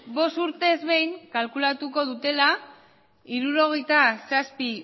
bost urtez behin kalkulatuko dutela hirurogeita zazpi